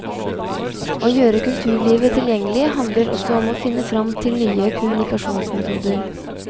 Å gjøre kulturlivet tilgjengelig handler også om å finne fram til nye kommunikasjonsmetoder.